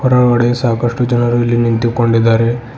ಹೊರಗಡೆ ಸಾಕಷ್ಟು ಜನರು ಇಲ್ಲಿ ನಿಂತಿ ಕೊಂಡಿದ್ದಾರೆ.